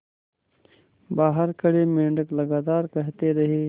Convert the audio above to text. बाहर खड़े मेंढक लगातार कहते रहे